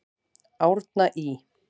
Árna Ý.